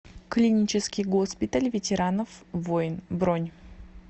клинический госпиталь ветеранов войн бронь